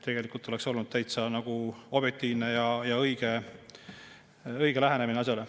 Tegelikult oleks olnud see täitsa objektiivne ja õige lähenemine asjale.